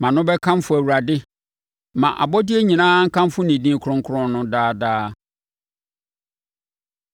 Mʼano bɛkamfo Awurade. Ma abɔdeɛ nyinaa nkamfo ne din kronkron no daa daa.